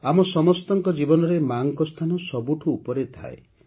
ଆମ ସମସ୍ତଙ୍କ ଜୀବନରେ ମା'ଙ୍କ ସ୍ଥାନ ସବୁଠୁ ଉପରେ ଥାଏ